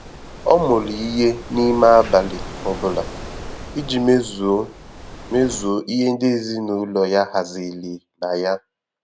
Ọ́ mụrụ ìhè n’ímé ábàlị̀ ọ bụ́lá ìjí mézùó mézùó ìhè ndị́ èzínụ́lọ yá haziri la yá.